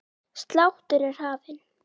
Sláttur er hafinn.